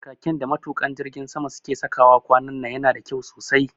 Khakin da matuƙa jirgin sama su ke sawa kwanan nan yana da kyau sosai